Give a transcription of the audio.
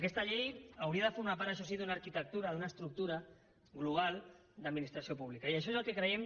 aquesta llei hauria de formar part això sí d’una arquitectura d’una estructura global d’administració pública i això és el que creiem